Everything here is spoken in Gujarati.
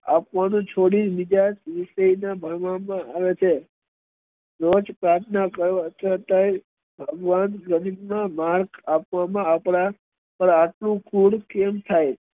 આપવાનું છોડી બીજા દિવસે ભણવામાં આવે છે રોજ પ્રાર્થના કરો ભગવાન રવીન્દ્ર નાથ ઠાકોર ના આપડા